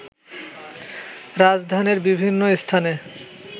রাজধানীর বিভিন্ন স্থানে